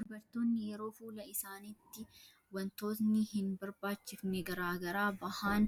Dubartoonni yeroo fuula isaanitti waantotni hin barbaachifne garaagaraa bahaan